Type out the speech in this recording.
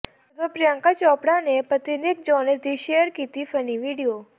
ਜਦੋਂ ਪ੍ਰਿਅੰਕਾ ਚੋਪੜਾ ਨੇ ਪਤੀ ਨਿੱਕ ਜੋਨਸ ਦੀ ਸ਼ੇਅਰ ਕੀਤਾ ਫਨੀ ਵੀਡੀਓ